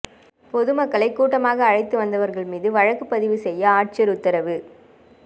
பொதுமக்களை கூட்டமாக அழைத்து வந்தவா்கள் மீதுவழக்குப் பதிவு செய்ய ஆட்சியா் உத்தரவு